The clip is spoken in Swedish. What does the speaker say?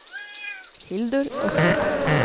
Hildur Östman